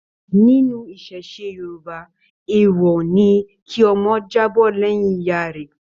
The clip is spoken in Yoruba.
Nínú iṣẹṣe Yorùbá, èèwọ̀ ni kí ọmọ jábọ́ lẹ́yìn ìyá rẹ.